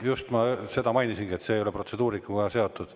Just, ma mainisingi, et see ei ole protseduurikaga seotud.